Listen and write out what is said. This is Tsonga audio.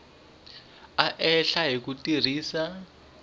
a hlela ni ku tirhisa